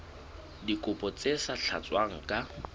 dikopo tse sa tlatswang ka